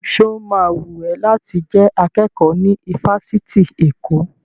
Sọ ma wùn ẹ́ láti jẹ́ akẹ́kọ̀ọ́ ní ifásitì Èkó?